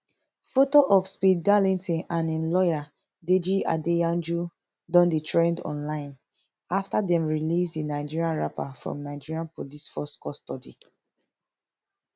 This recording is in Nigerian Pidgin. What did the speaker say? foto of speed darlington and im lawyer deji adeyanju don dey trend online afta dem release di nigerian rapper from nigeria police force custody